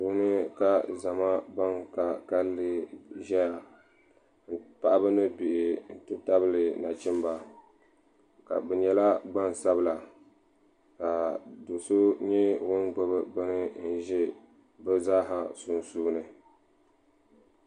Duu puuni ka zama banka kanli zɛya paɣaba ni bihi n ti tabili na chimda bi nyɛla gbaŋ sabila ka so so nyɛ ŋuni gbubi bini n zɛ bi zaaha sunsuuni.